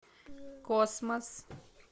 космос